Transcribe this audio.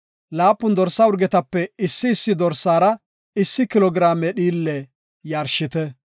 laapun dorsa urgetape issi issi dorsaara issi kilo giraame dhiille yarshite.